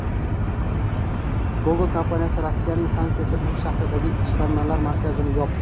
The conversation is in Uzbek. Google kompaniyasi Rossiyaning Sankt-Peterburg shahridagi ishlanmalar markazini yopdi.